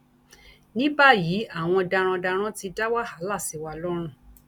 ní báyìí àwọn darandaran ti dá wàhálà sí wa lọrùn